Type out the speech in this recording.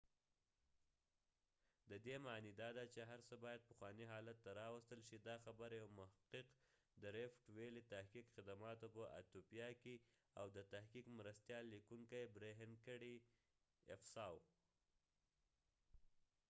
ددې معنی داده چې هر څه باید پخوانی حالت ته راوستل شي، دا خبره یو محقق د ریفټ ويلی د تحقیقی خدماتو په ایتیوپیا کې او د تحقیق مرستیال لیکونکې برهین افساوberhane asfaw کړي